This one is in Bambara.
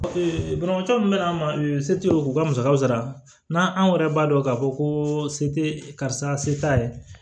banabaatɔ min bɛ na ma se tɛ u ka musakaw sara n'a anw yɛrɛ b'a dɔn k'a fɔ ko se tɛ karisa se t'a ye